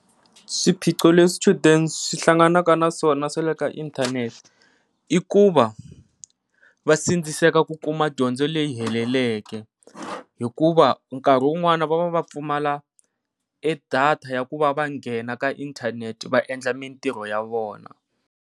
Swiphiqo leswi swichudeni swihlanganaka naswona swa le ka inthanethe i ku va va sindziseka ku kuma dyondzo leyi heleleke, hikuva nkarhi wun'wani va va va pfumala data ya ku va va nghena ka inthanete va endla mintirho ya vona.